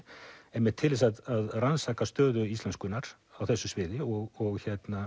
einmitt til þess að rannsaka stöðu íslenskunnar á þessu sviði og